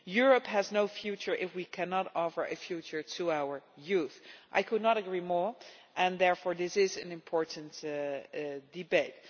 Europe has no future if we cannot offer a future to our youth. I could not agree more, and therefore this is an important debate.